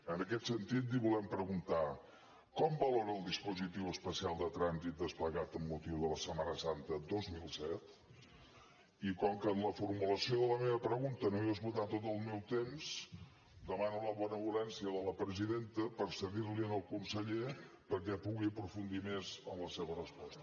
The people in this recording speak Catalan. en aquest sentit li volem preguntar com valora el dispositiu especial de trànsit desplegat amb motiu de la setmana santa dos mil disset i com que en la formulació de la meva pregunta no he esgotat tot el meu temps demano la benevolència de la presidenta per cedir l’hi al conseller perquè pugui aprofundir més en la seva resposta